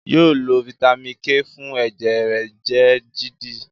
yóò lo Vitamin k fún ẹjẹ rẹ jẹ dídì